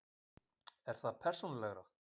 Er það persónulegra?